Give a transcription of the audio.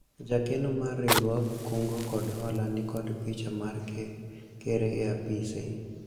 jakeno mar riwruog kungo kod hola nikod picha mar ker e apise